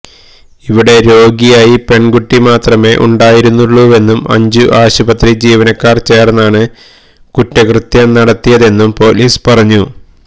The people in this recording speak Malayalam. ഇവിടെ രോഗിയായി പെണ്കുട്ടി മാത്രമെ ഉണ്ടായിരുന്നുള്ളൂവെന്നും അഞ്ചു ആശുപത്രി ജീവനക്കാര് ചേര്ന്നാണ് കുറ്റകൃത്യം നടത്തിയതെന്നും പോലീസ് പറഞ്ഞു